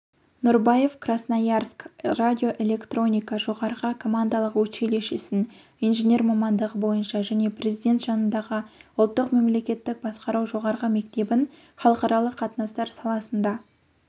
нұрбаев красноярск радиоэлектроника жоғарғы командалық училищесін инженер мамандығы бойынша және президенті жанындағы ұлттық мемлекеттік басқару жоғарғы мектебін халықаралық қатынастар саласында